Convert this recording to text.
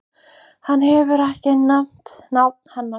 Hann hefur ekki nefnt nafn hennar.